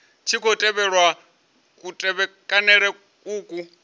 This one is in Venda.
tshi khou tevhelwa kutevhekanele uku